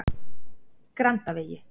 Grandavegi